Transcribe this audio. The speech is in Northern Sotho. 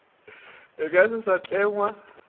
e ka se sa tlengwa